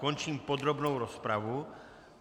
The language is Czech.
Končím podrobnou rozpravu.